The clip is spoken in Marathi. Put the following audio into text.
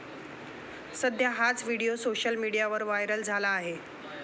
सध्या हाच व्हिडिओ सोशल मीडियावर व्हायरल झाला आहे.